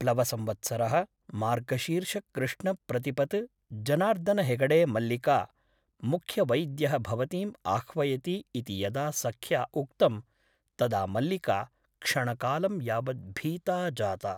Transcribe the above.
प्लवसंवत्सरः मार्गशीर्षकृष्णप्रतिपत् जनार्दन हेगडे मल्लिका । मुख्यवैद्यः भवतीम् आह्वयति इति यदा सख्या उक्तं तदा मल्लिका क्षणकालं यावत् भीता जाता ।